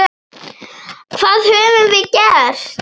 Hvað höfum við gert?